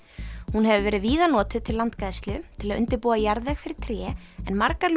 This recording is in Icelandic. hún hefur verið víða notuð til landgræðslu til að undirbúa jarðveg fyrir tré en margar